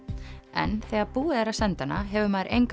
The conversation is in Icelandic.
en þegar búið er að senda hana hefur maður enga